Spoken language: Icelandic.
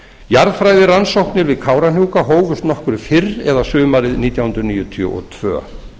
jarðfræðirannsóknir við kárahnjúka hófust nokkru fyrr eða sumarið nítján hundruð níutíu og tvö